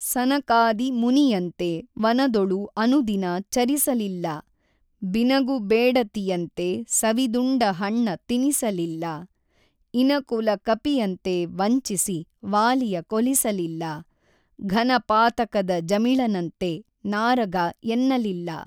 ಸನಕಾದಿ ಮುನಿಯಂತೆ ವನದೊಳು ಅನುದಿನ ಚರಿಸಲಿಲ್ಲಬಿನಗು ಬೇಡತಿಯಂತೆ ಸವಿದುಂಡ ಹಣ್ಣ ತಿನಿಸಲಿಲ್ಲ ಇನಕುಲ ಕಪಿಯಂತೆ ವಂಚಿಸಿ ವಾಲಿಯ ಕೊಲಿಸಲಿಲ್ಲ ಘನ ಪಾತಕದ ಜಮಿಳನಂತೆ ನಾರಗ ಎನ್ನಲಿಲ್ಲ.